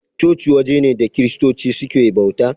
Coci waje ne da kiristoci suke bauta.